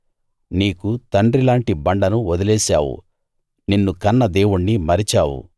నీకు తండ్రి లాంటి బండను వదిలేశావు నిన్ను కన్న దేవుణ్ణి మరిచావు